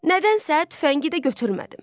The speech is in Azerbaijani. Nədənsə tüfəngi də götürmədim.